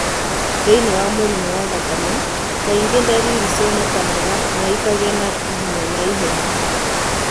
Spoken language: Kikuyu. Thĩinĩ wa mũrimũ wa thakame , kaingĩ ndariri cionekaga na ikagĩa na hinya na ihenya.